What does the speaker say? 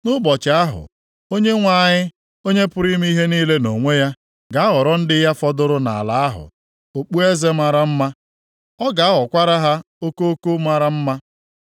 Nʼụbọchị ahụ, Onyenwe anyị, Onye pụrụ ime ihe niile nʼonwe ya, ga-aghọrọ ndị ya fọdụrụ nʼala ahụ okpueze mara mma, ọ ga-aghọkwara ha okoko mara mma.